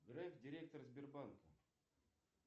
греф директор сбербанка